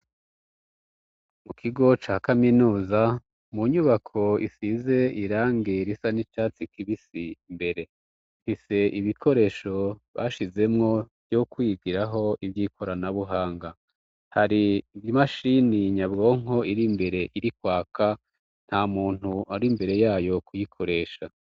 Mu kigo ca kaminuza mu nyubako isize irange risa n'icatsi kibisi mbere nti se ibikoresho bashizemwo vyo kwigiraho ivyoikoranabuhanga hari imashini nyabwonko iri mbere iri kwaka nta muntu ari mbere ya yokuyikoresha.